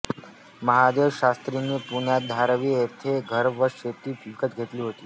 महादेवशास्त्रींनी पुण्यात धायरी येथे घर व शेती विकत घेतली होती